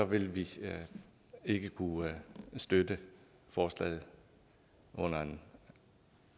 vil vi ikke kunne støtte forslaget under en